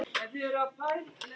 Erla Björg: Er þetta gott?